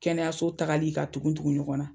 Kɛnɛyaso tagali ka tugu tugu ɲɔgɔn na